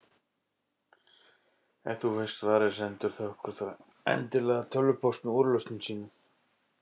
Ef þú veist svarið, sendu okkur þá endilega tölvupóst með úrlausnum þínum.